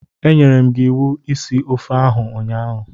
Enyere m gi iwu isi ofe oha ụnyaahụ.